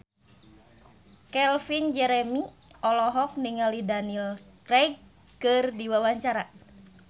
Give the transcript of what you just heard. Calvin Jeremy olohok ningali Daniel Craig keur diwawancara